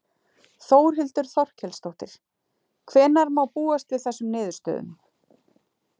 Þórhildur Þorkelsdóttir: Hvenær má búast við þessum niðurstöðum?